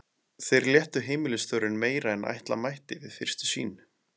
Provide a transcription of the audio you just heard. Þeir léttu heimilisstörfin meira en ætla mætti við fyrstu sýn.